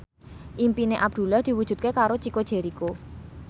impine Abdullah diwujudke karo Chico Jericho